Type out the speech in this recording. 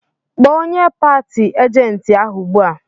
Kpọọ onye pati ajenti ahụ ugbu a!